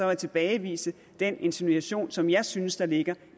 jeg tilbagevise den insinuation som jeg synes der ligger